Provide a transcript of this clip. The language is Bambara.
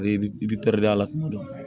I bi pɛridi a la tuma dɔ